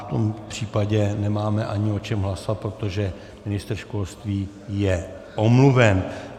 V tom případě nemáme ani o čem hlasovat, protože ministr školství je omluven.